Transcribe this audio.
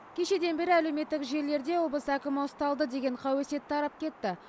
кешеден бері әлеуметтік желілерде облыс әкімі ұсталды деген қауесет тарап кетті